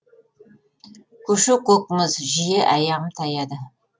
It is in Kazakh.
көше көк мұз жиі аяғым таяды